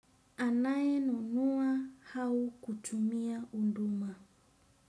Anayenunua au kutumia huduma.